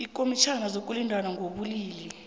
ikomitjhana yokulingana ngokobulili